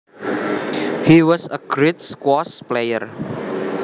He was a great squash player